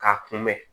K'a kunbɛn